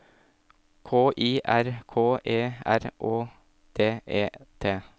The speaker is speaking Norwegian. K I R K E R Å D E T